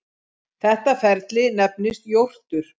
Þetta ferli nefnist jórtur.